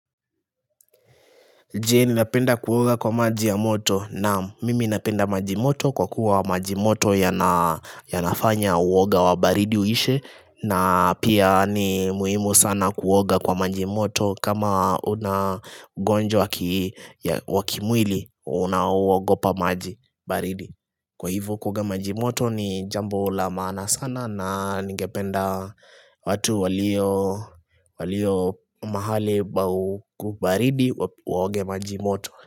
Je ninapenda kuoga kwa maji ya moto naam mimi napenda maji moto kwa kuwa maji moto ya nafanya uoga wa baridi uishe na pia ni muhimu sana kuoga kwa maji moto kama unagonjwa wakimwili unaoogopa maji baridi Kwa hivo kuoga majimoto ni jambo la maana sana na ningependa watu walio walio mahali pa u ubaridi waoge majimoto.